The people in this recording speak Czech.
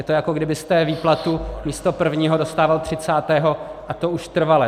Je to, jako byste výplatu místo prvního dostával třicátého, a to už trvale.